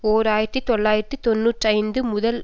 ஓர் ஆயிரத்தி தொள்ளாயிரத்து தொன்னூற்றி ஐந்து முதல்